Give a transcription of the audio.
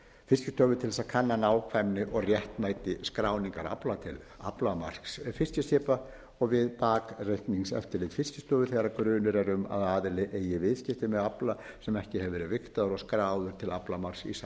fiskistofu til þess að kanna nákvæmni og réttmæti skráningar afla til aflamarks fiskiskipa og við bakreikningseftirlit fiskistofu þegar grunur er um að aðili eigi viðskipti með afla sem ekki hefur verið vigtaður og skráður til aflamarks í samræmi við lög